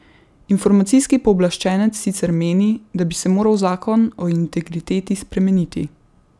Informacijski pooblaščenec sicer meni, da bi se moral zakon o integriteti spremeniti.